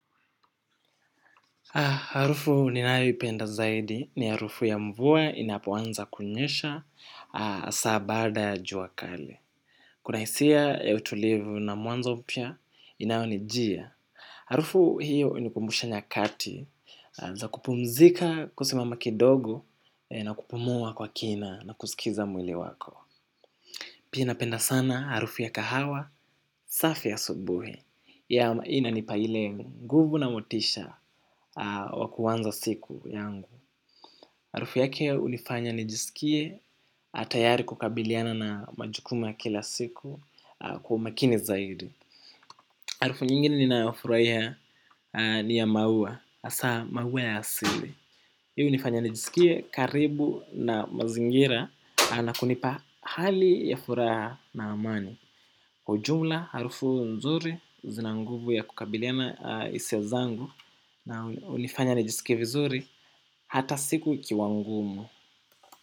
Harufu ninaipenda zaidi ni harufu ya mvua inapoanza kunyesha asaa baada ya juakali. Kunaisia utulivu na mwanzo mpya inaonijia. Harufu hiyo inikumbusha nyakati za kupumzika kusimama kidogo na kupumua kwa kina na kusikiza mwili wako. Pia napenda sana arufu ya kahawa, safi ya asubuhi, ya maina nipa ile, nguvu na motisha wa kuwanza siku yangu. Harufu yake unifanya nijiskie tayari kukabiliana na majukumu ya kila siku kwa umakini zaidi. Arufu nyingine ninafuraiha ni ya maua, asa maua ya asili. Hii unifanya nijiskie karibu na mazingira na kunipa hali ya furaha na amani kwa ujumla harufu nzuri zina nguvu ya kukabiliana hisia zangu na hunifanya nijisikie vizuri hata siku ikiwa ngumu.